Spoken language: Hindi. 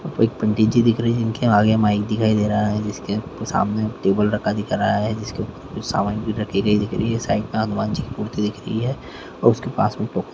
एक पंडित जी दिख रहे है जिनके आगे माइक दिखाई दे रहा है जिस के सामने टेबल रखा दिख रहा है जिसके सामान भी दिख रही है साइड में हनुमान जी की मूर्ति दिख रही है उसके पास में--